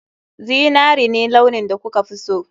Zinari ne launin da kuka fi so